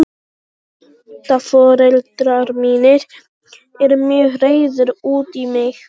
Tengdaforeldrar mínir eru mjög reiðir út í mig.